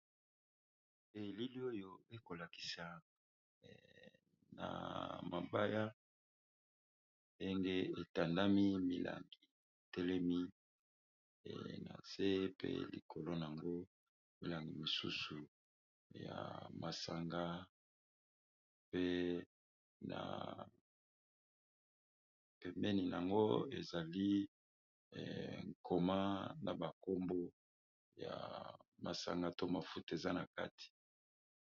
Bilili oyo ekolakisa ba mabaye ndenge etandami milangi etelemi nase pe nayango milangi misusu ya masanga pe pembeni ezali ekomani na masango pe mafuta eza nakati.